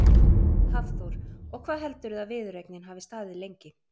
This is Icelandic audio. Hafþór: Og hvað heldurðu að viðureignin hafi staðið lengi?